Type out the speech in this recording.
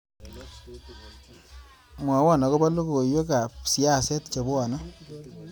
Mwawon agoba logoywekab siaset chenwone